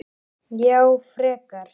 Já, frekar.